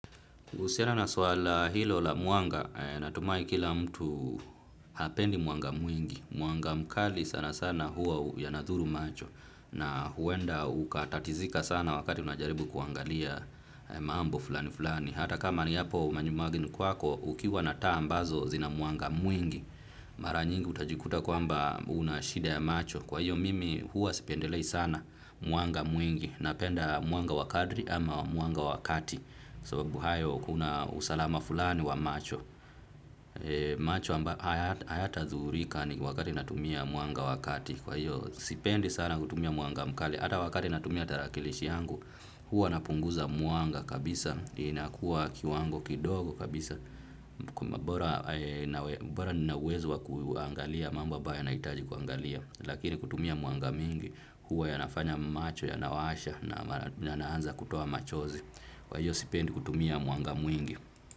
Uhusiana na swala hilo la mwanga, natumai kila mtu hapendi mwanga mwingi. Mwanga mkali sana sana huwa yanadhuru macho. Na huenda ukatatizika sana wakati unajaribu kuangalia mambo fulani fulani. Hata kama niyapo manyumbagni kwako, ukiwa na taa ambazo zina muanga mwingi. Mara nyingi utajikuta kwamba una shida ya macho. Kwa hiyo mimi huwa sipendelei sana mwanga mwingi. Napenda mwanga wa kadri ama mwanga wakati. Sababu hayo kuna usalama fulani wa macho macho amba hayatazurika ni wakati natumia mwanga wa kati kwa hiyo sipendi sana kutumia mwanga mkali hata wakati natumia tarakilishi yangu huwa napunguza muanga kabisa inakuwa kiwango kidogo kabisa bora ninauwezo wa kuangalia mambo abayo naitaji kuangalia lakini kutumia mwanga mingi huwa yanafanya macho yanawasha na naanza kutoa machozi. Kwa hiyo sipendi kutumia mwanga mwingi.